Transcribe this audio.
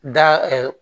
Da